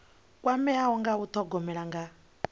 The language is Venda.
kwameaho nga u thogomela nga